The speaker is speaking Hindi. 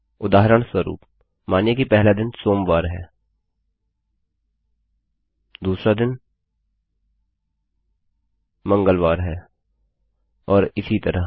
उदाहरणस्वरूप मानिए कि पहला दिन सोमवार है दूसरा दिन मंगलवार है और इसी तरह